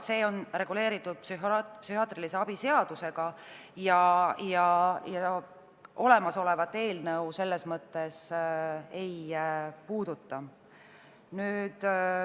See on reguleeritud psühhiaatrilise abi seadusega ja olemasolevat eelnõu see selles mõttes ei puuduta.